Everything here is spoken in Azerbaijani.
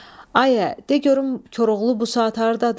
Ay ə, de görüm Koroğlu bu saat hardadır?